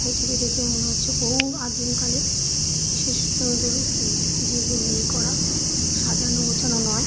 এটিকে দেখে মনে হচ্ছে বহু আদিম কালের বিশেষ সুন্দর উ- জীবনী করা। সাজানো গোছানো নয়।